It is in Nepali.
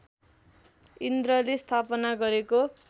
इन्द्रले स्थापना गरेको